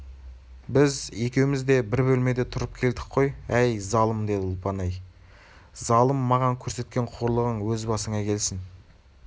біз екеуміз де бір бөлмеде тұрып келдік қой әй залым деді ұлпан әй залым маған көрсеткен қорлығың өз басыңа келсін